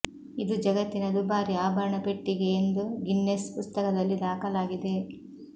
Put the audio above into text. ಇದು ಜಗತ್ತಿನ ದುಬಾರಿ ಆಭರಣ ಪೆಟ್ಟಿಗೆ ಎಂದು ಗಿನ್ನೆಸ್ ಪುಸ್ತಕದಲ್ಲಿ ದಾಖಲಾಗಿದೆ